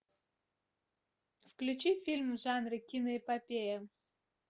включи фильм в жанре киноэпопея